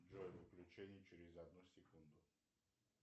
джой включение через одну секунду